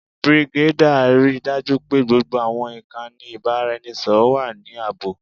Brigadier, rii daju pe gbogbo awọn ikanni ibaraẹnisọrọ wa ni aabo.